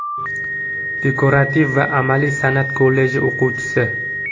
Dekorativ va amaliy san’at kolleji o‘quvchisi.